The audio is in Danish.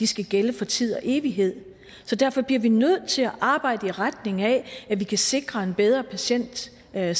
skal gælde for tid og evighed så derfor bliver vi nødt til at arbejde i retning af at vi kan sikre en bedre patientsikkerhed